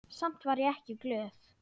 Samt var ég ekki glöð.